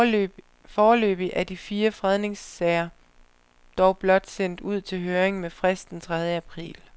Foreløbig er de fire fredningssager dog blot sendt ud til høring med frist den tredje april.